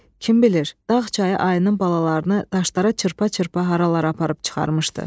Kim bilir, dağ çayı ayının balalarını daşlara çırpa-çırpa haralara aparıb çıxarmışdı.